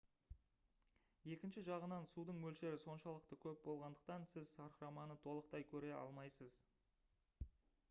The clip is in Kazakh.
екінші жағынан судың мөлшері соншалықты көп болғандықтан сіз сарқыраманы толықтай көре алмайсыз